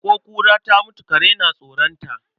Ko kura ta mutu kare na tsoron ta.